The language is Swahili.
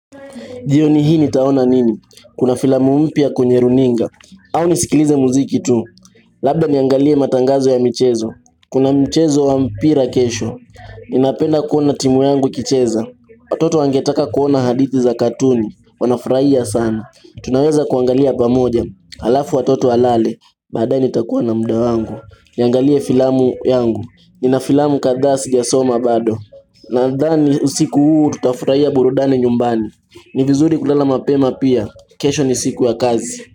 Jioni hii nitaona nini? Kuna filamu mpya kwenye runinga. Au nisikilize muziki tu. Labda niyaangalie matangazo ya michezo. Kuna mchezo wa mpira kesho. Ninapenda kuona timu yangu ikicheza. Watoto wangetaka kuona hadithi za katuni. Wanafurahia sana. Tunaweza kuangalia pamoja. Halafu watoto walale. Badaae nitakuwa na muda wangu. Niangalie filamu yangu. Nina filamu kadhaa sijasoma bado. Nadhani usiku huu tutafurahia burudani nyumbani ni vizuri kulala mapema pia kesho ni siku ya kazi.